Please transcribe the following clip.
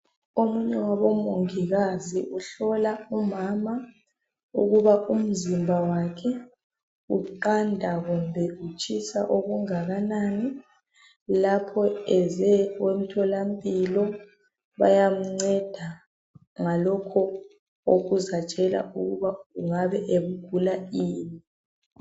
Omunye wabomongikazi uhlola umama ukuba umzimba wakhe uqanda kumbe utshisa okungakanani lapho eze emtholampilo bayamnceda ngalokho okuzatshela ukuba engabe egula ini.